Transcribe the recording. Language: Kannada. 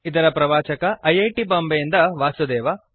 ಇದರ ಪ್ರವಾಚಕ ಐ ಐ ಟಿ ಬಾಂಬೆ ಯಿಂದ ವಾಸುದೇವ